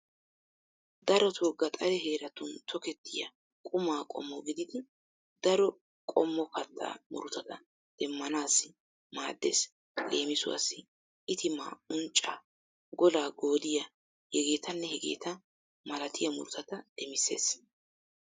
Daroto gaxare heeratun tokettiya quma qommo gididi daro qommo kattaa murutata demmanaassi maaddeees. Leemisuwaassi itimaa, unccaa, golaa goodiyaa hegeetanne hegeeta malatiya murutata demissees.